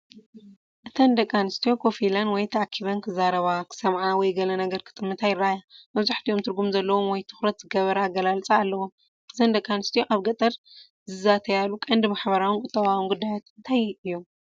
እተን ደቂ ኣንስትዮ ኮፍ ኢለን ወይ ተኣኪበን፡ ክዛረባ፡ ክሰምዓ ወይ ገለ ነገር ክጥምታ ይረኣያ። መብዛሕትኦም ትርጉም ዘለዎ ወይ ትኹረት ዝገበረ ኣገላልጻ ኣለዎም። እዘን ደቂ ኣንስትዮ ኣብ ገጠር ዝዛተያሉ ቀንዲ ማሕበራውን ቁጠባውን ጉዳያት እንታይ እዮም?